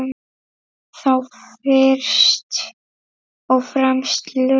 Þá fyrst og fremst laun.